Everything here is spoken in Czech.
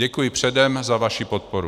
Děkuji předem za vaši podporu.